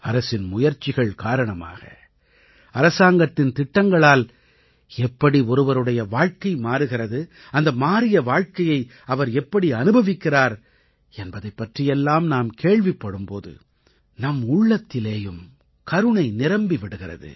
அரசின் முயற்சிகள் காரணமாக அரசாங்கத்தின் திட்டங்களால் எப்படி ஒருவருடைய வாழ்க்கை மாறுகிறது அந்த மாறிய வாழ்க்கையை அவர் எப்படி அனுபவிக்கிறார் என்பதைப் பற்றியெல்லாம் நாம் கேள்விப்படும் போது நம்முள்ளத்திலேயும் கருணை நிரம்பி விடுகிறது